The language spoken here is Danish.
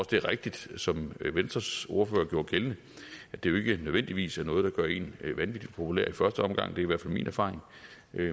det er rigtigt som venstres ordfører gjorde gældende at det jo ikke nødvendigvis er noget der gør en vanvittig populær i første omgang det er i hvert fald min erfaring